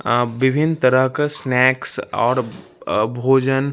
अं बिभीन तरह का स्नैक्स और आ भोजन --